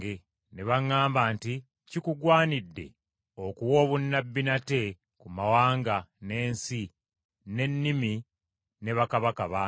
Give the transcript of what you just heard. Ne baŋŋamba nti, “Kikugwanidde okuwa obunnabbi nate ku mawanga, n’ensi, n’ennimi ne bakabaka bangi.”